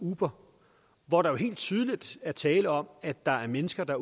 uber hvor der jo helt tydeligt er tale om at der er mennesker der